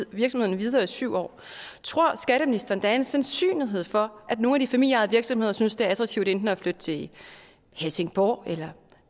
virksomheden videre i syv år tror skatteministeren at der er en sandsynlighed for at nogle af de familieejede virksomheder synes det er attraktivt enten at flytte til helsingborg eller